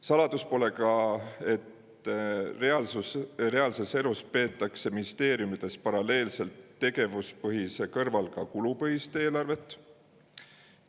Saladus pole seegi, et reaalses elus peetakse ministeeriumides paralleelselt tegevuspõhise eelarve kõrval ka kulupõhist eelarvet.